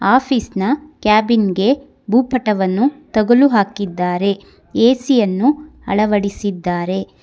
Office ನ cabin ಗೆ ಭೂಪಟವನ್ನು ತಗಲು ಹಾಕಿದ್ದಾರೆ ಎ_ಸಿ ಯನ್ನು ಅಳವಡಿಸಿದ್ದಾರೆ.